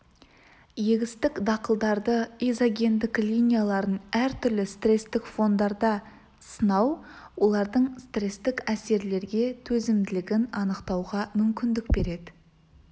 егістік дақылдарды изогендік линияларын әртүрлі стрестік фондарда сынау олардың стрестік әсерлерге төзімділігін анықтауға мүмкіндік береді